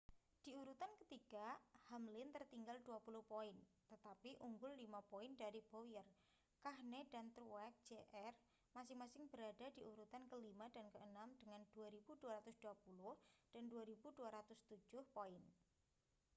di urutan ketiga hamlin tertinggal dua puluh poin tetapi unggul lima poin dari bowyer kahne dan truex jr masing-masing berada di urutan kelima dan keenam dengan 2.220 dan 2.207 poin